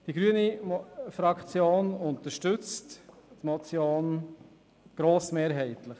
Die grüne Fraktion unterstützt die Motion grossmehrheitlich.